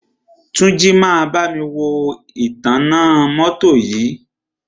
Túnjí máa bámi wo ìtanná mọ́tọ́ yìí.